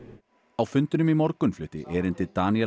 á fundinum í morgun flutti erindi Danielle